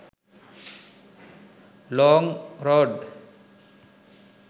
long road